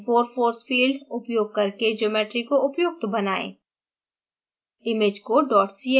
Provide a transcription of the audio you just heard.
mmff94 force field उपयोग करके geometry को उपयुक्त बनाएं